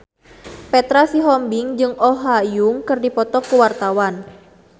Petra Sihombing jeung Oh Ha Young keur dipoto ku wartawan